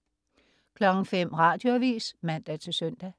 05.00 Radioavis (man-søn)